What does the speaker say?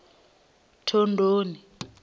thondoni